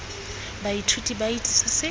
baithuti ba itse se se